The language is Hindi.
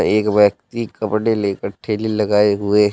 एक व्यक्ति कपड़े लेकर ठेले लगाए हुए--